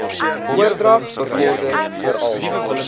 oordrag bevorder veral